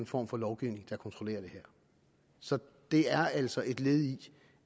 form for lovgivning der kontrollerer det her så det er altså et led i